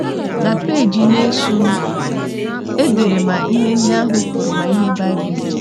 Na peeji na - esonụ, e dere ma ihe ndị ahụ kwuru ma ihe Baịbụl kwuru.